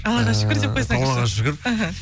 аллаға шүкір деп қойсаңызшы аллаға шүкір іхі